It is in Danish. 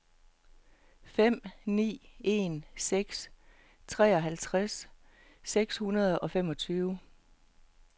fem ni en seks treoghalvtreds seks hundrede og femogtyve